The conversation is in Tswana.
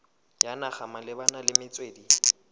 ya naga malebana le metswedi